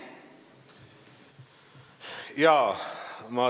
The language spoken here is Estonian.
Jaa.